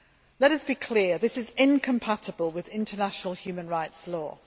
Let us be clear this is incompatible with international human rights law.